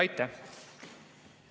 Aitäh!